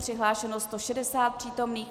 Přihlášeno 160 přítomných.